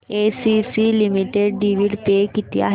ACC limited dividend pay किती आहे